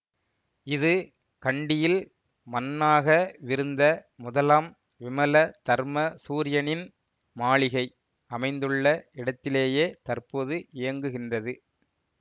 இது கண்டியில் மன்னாகவிருந்த முதலாம் விமல தர்ம சூரியனின் மாளிகை அமைந்துள்ள இடத்திலேயே தற்போது இயங்குகின்றது